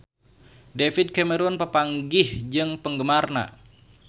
David Cameron papanggih jeung penggemarna